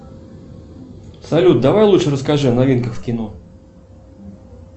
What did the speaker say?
салют давай лучше расскажи о новинках в кино